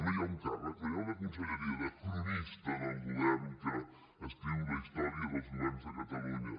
no hi ha un càrrec no hi ha una conselleria de cronista del govern que escriu la història dels governs de catalunya